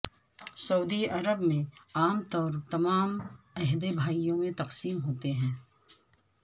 سعودی عرب میں عام طور تمام عہدے بھائیوں میں تقسیم ہوتے ہیں